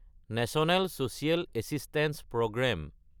national social assistance programme